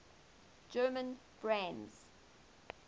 german brands